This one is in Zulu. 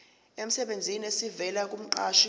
emsebenzini esivela kumqashi